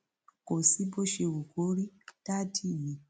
kò sí bó ṣe wù kó rí dádì mi